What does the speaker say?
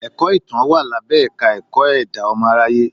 Ẹ̀kọ́ Ìtàn wà lábẹ́ Ẹ̀ka-ẹ̀kọ́ ẹ̀dá ọmọ aráyé.